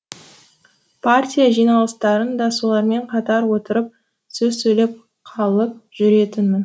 партия жиналыстарын да солармен қатар отырып сөз сөйлеп қалып жүретінмін